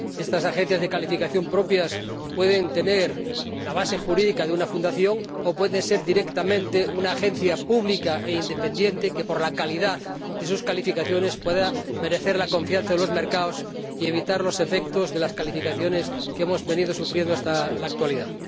Estas agencias de calificación propias pueden tener la base jurídica de una fundación o pueden ser directamente una agencia pública e independiente que, por la calidad de sus calificaciones, pueda merecer la confianza de los mercados y evitar los efectos de las calificaciones que hemos venido sufriendo hasta la actualidad.